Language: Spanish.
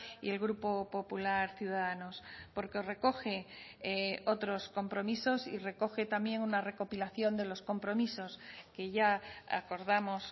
y el grupo popular ciudadanos porque recoge otros compromisos y recoge también una recopilación de los compromisos que ya acordamos